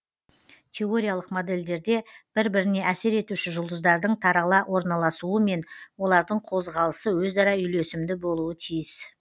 теориялық модельдерде бір біріне әсер етуші жұлдыздардың тарала орналасуы мен олардың қозғалысы өзара үйлесімді болуы тиіс